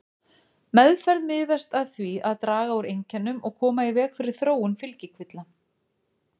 Meðferð miðast að því að draga úr einkennum og koma í veg fyrir þróun fylgikvilla.